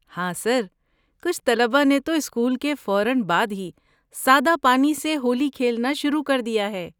ہاں سر، کچھ طلبہ نے تو اسکول کے بعد فوراً ہی سادہ پانی سے ہولی کھیلنا شروع کر دیا ہے!